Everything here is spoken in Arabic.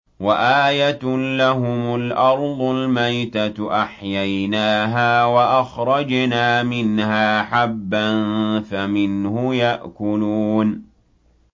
وَآيَةٌ لَّهُمُ الْأَرْضُ الْمَيْتَةُ أَحْيَيْنَاهَا وَأَخْرَجْنَا مِنْهَا حَبًّا فَمِنْهُ يَأْكُلُونَ